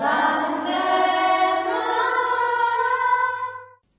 Vande Mataram